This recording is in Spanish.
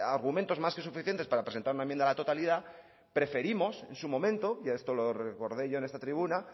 argumentos más que suficientes para presentar una enmienda a la totalidad preferimos en su momento y esto lo recordé yo en esta tribuna